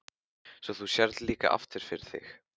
Svo þú sérð líka aftur fyrir þig?